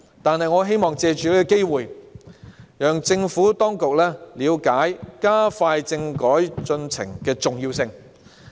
不過，我希望藉此機會讓政府當局了解加快政改進程的重要性。